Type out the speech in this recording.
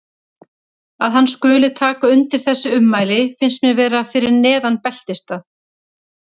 Að hann skuli taka undir þessi ummæli finnst mér vera fyrir neðan beltisstað.